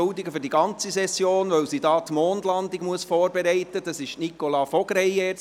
sie hat sich für die ganze Session entschuldigen lassen, weil sie die Mondlandung vorbereiten muss.